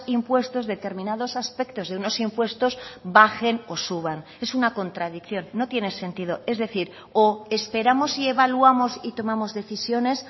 impuestos determinados aspectos de unos impuestos bajen o suban es una contradicción no tiene sentido es decir o esperamos y evaluamos y tomamos decisiones